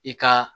I ka